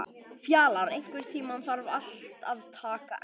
Fjalar, einhvern tímann þarf allt að taka enda.